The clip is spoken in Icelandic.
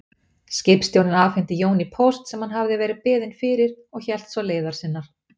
Skipstjórinn afhenti Jóni póst sem hann hafði verið beðinn fyrir og hélt svo leiðar sinnar.